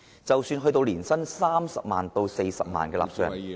即使是年薪30萬元至40萬元的納稅人......